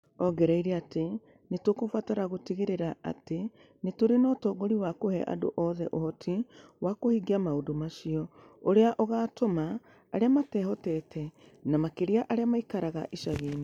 Aongereire atĩ nĩ tũkũbatara gũtigĩrĩra atĩ nĩ tũrĩ na ũtongoria wa kũhe andũ othe ũhoti wa kũhingia maũndũ macio, ũrĩa ũgaatũma arĩa matehotete, na makĩria arĩa maikaraga icagi-inĩ.